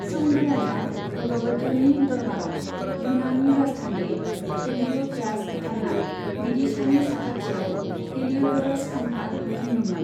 शुंग राजा भगभद्रनि दरबारआव युनानी राजथान्दै हेलियोड'रास बिथाङा विदिशानि साखाथियाव हेलियोडोरस खाम्फा लुफुंदोंमोन।